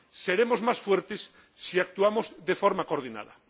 Seremos más fuertes si actuamos de forma coordinada.